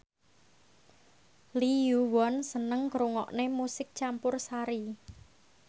Lee Yo Won seneng ngrungokne musik campursari